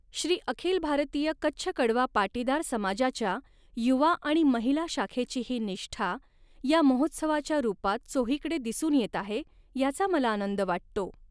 श्री अखिल भारतीय कच्छ कड़वा पाटीदार समाजाच्या युवा आणि महिला शाखेची ही निष्ठा या महोत्सवाच्या रुपात चोहीकडे दिसून येत आहे, याचा मला आनंद वाटतो.